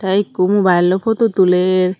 teh ekku mobile loi photo tuler.